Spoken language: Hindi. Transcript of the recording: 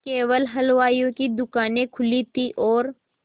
केवल हलवाइयों की दूकानें खुली थी और